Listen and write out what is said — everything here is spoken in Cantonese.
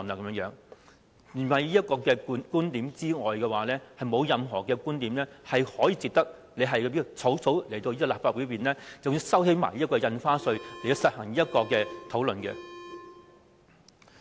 除此以外，已沒有任何觀點可以值得政府草草提交方案予立法會，更要擱置印花稅討論，以進行"一地兩檢"方案討論。